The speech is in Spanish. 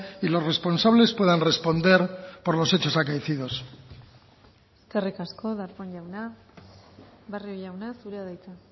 y los responsables puedan responder por los hechos acaecidos eskerrik asko darpón jauna barrio jauna zurea da hitza